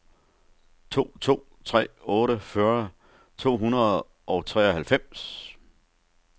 to to tre otte fyrre to hundrede og treoghalvfems